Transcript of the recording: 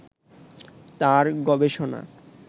তার গবেষণা